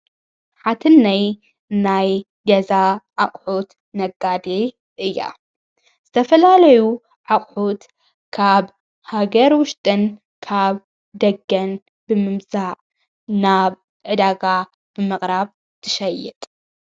ሓትነይ ናይ ገዛ ኣቕሑት ነጋዴ እያ ዝተፈላለዩ ኣቕሑት ካብ ሃገር ዉሽጥን ካብ ደገን ብምምፃእ ናብ ዕዳጋ ብምቕራብ ትሸየጥ።